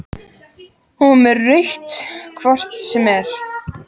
Hún var með rautt hvort sem er.